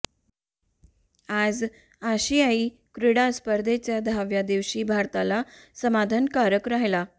आज आशियाई क्रीडा स्पर्धेच्या दहाव्या दिवशी भारताला समाधानकारक राहिला